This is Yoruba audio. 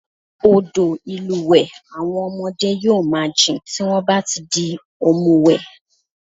Odò ìlúwẹ̀ẹ́ àwọn ọmọdé yóò máa jìn tí wọ́n bá ti di òmùwẹ̀